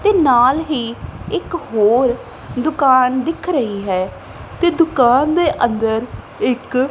ਤੇ ਨਾਲ ਹੀ ਇੱਕ ਹੋਰ ਦੁਕਾਨ ਦਿੱਖ ਰਹੀ ਹੈ ਤੇ ਦੁਕਾਨ ਦੇ ਅੰਦਰ ਇੱਕ--